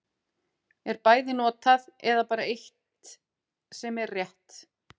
Er bæði notað, eða er bara eitt sem er rétt.